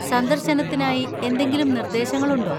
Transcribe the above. സന്ദർശനത്തിനായി എന്തെങ്കിലും നിർദ്ദേശങ്ങൾ ഉണ്ടോ?